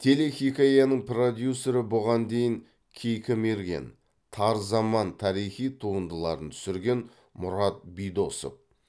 телехикаяның продюсері бұған дейін кейкі мерген тар заман тарихи туындыларын түсірген мұрат бидосов